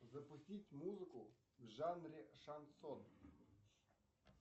запустить музыку в жанре шансон